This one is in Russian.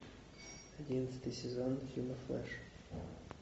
одиннадцатый сезон фильма флэш